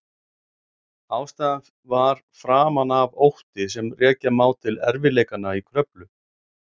Ástæðan var framan af ótti sem rekja má til erfiðleikanna í Kröflu.